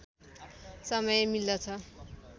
समय मिल्दछ